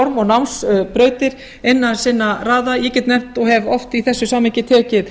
skólaform og námsbrautir innan sinna raða ég get nefnt og hef oft í þessu samhengi tekið